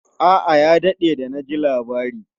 A'a, ya daɗe da na ji labari.